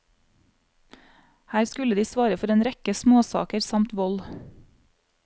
Her skulle de svare for en rekke småsaker samt vold.